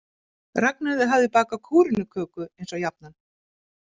Ragnheiður hafði bakað kúrenuköku eins og jafnan.